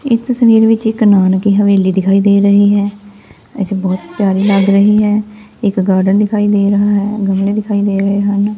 ਇਸ ਤਸਵੀਰ ਵਿੱਚ ਇੱਕ ਨਾਨਕੀ ਹਵੇਲੀ ਦਿਖਾਈ ਦੇ ਰਹੀ ਹੈ ਵੈਸੇ ਬਹੁਤ ਪਿਆਰੀ ਲੱਗ ਰਹੀ ਹੈ ਇੱਕ ਗਾਰਡਨ ਦਿਖਾਈ ਦੇ ਰਹਾ ਹੈ ਗਮਲੇ ਦਿਖਾਈ ਦੇ ਰਹੇ ਹਨ।